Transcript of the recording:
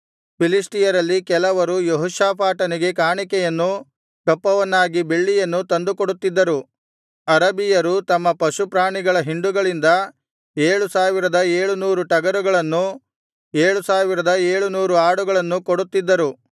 ಫಿಲಿಷ್ಟಿಯರಲ್ಲಿ ಕೆಲವರು ಯೆಹೋಷಾಫಾಟನಿಗೆ ಕಾಣಿಕೆಯನ್ನೂ ಕಪ್ಪವನ್ನಾಗಿ ಬೆಳ್ಳಿಯನ್ನೂ ತಂದುಕೊಡುತ್ತಿದ್ದರು ಅರಬಿಯರು ತಮ್ಮ ಪಶುಪ್ರಾಣಿಗಳ ಹಿಂಡುಗಳಿಂದ ಏಳು ಸಾವಿರದ ಏಳು ನೂರು ಟಗರುಗಳನ್ನೂ ಏಳು ಸಾವಿರದ ಏಳು ನೂರು ಆಡುಗಳನ್ನೂ ಕೊಡುತ್ತಿದ್ದರು